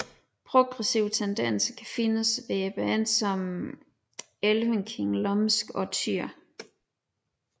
Progressive tendenser kan findes hos bands som Elvenking Lumsk og Týr